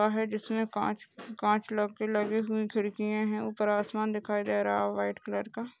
जिसमे काच-काच ल-लगे हुए खिड़कीया है उपर आसमान दिखाई दे रहा व्हाइट कलर का।